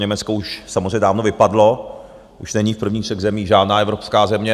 Německo už samozřejmě dávno vypadlo, už není v prvních třech zemích žádná evropská země.